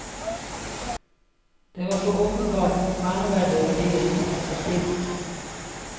Det var så åpenbart verneverdige verdier som sto på spill.